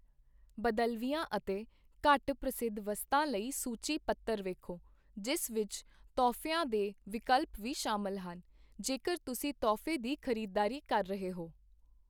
ਬਦਲਵੀਆਂ ਅਤੇ ਘੱਟ ਪ੍ਰਸਿੱਧ ਵਸਤਾਂ ਲਈ ਸੂਚੀ ਪੱਤਰ ਵੇਖੋ, ਜਿਸ ਵਿੱਚ ਤੋਹਫ਼ਿਆਂ ਦੇ ਵਿਕਲਪ ਵੀ ਸ਼ਾਮਲ ਹਨ, ਜੇਕਰ ਤੁਸੀਂ ਤੋਹਫ਼ੇ ਦੀ ਖ਼ਰੀਦਦਾਰੀ ਕਰ ਰਹੇ ਹੋ।